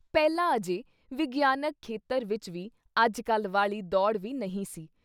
ਪਹਿਲਾਂ ਅਜੇ ਵਿਗਿਆਨਿਕ ਖੇਤਰ ਵਿੱਚ ਵੀ ਅੱਜ-ਕੱਲ੍ਹ ਵਾਲੀ ਦੌੜ੍ਹ ਵੀ ਨਹੀਂ ਸੀ।